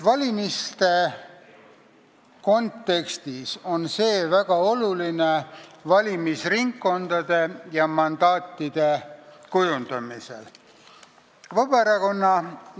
Valimiste kontekstis on see valimisringkondade ja mandaatide kujundamisel väga oluline.